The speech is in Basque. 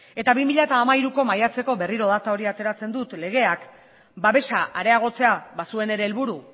eta bi mila hiruko maiatzeko legeak berriro data hori ateratzen dut babesa areagotzea bazuen ere helburu